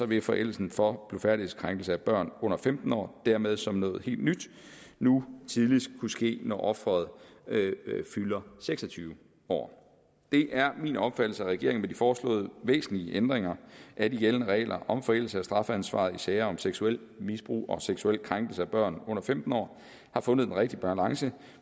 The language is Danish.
vil forældelsen for blufærdighedskrænkelse af børn under femten år dermed som noget helt nyt nu tidligst kunne ske når offeret fylder seks og tyve år det er min opfattelse at regeringen med de foreslåede væsentlige ændringer af de gældende regler om forældelse af strafansvaret i sager om seksuelt misbrug og seksuel krænkelse af børn under femten år har fundet den rigtige balance